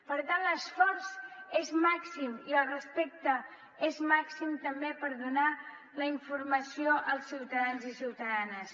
per tant l’esforç és màxim i el respecte també és màxim per donar la informació als ciutadans i ciutadanes